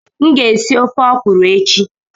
M ga-esi ofe ọkwuru echi.